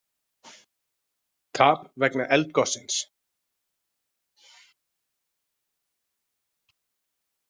Tap vegna eldgossins